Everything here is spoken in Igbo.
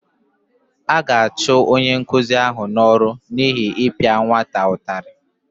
A ga-achụ onye nkụzi ahụ n’ọrụ n’ihi ịpịa nwata ụtarị